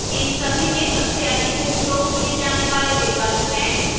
इन सभी में सबसे अधिक उपयोग किए जाने वाले विकल्प हैं